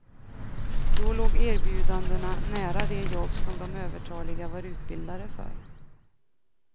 Då låg erbjudandena nära de jobb som de övertaliga var utbildade för.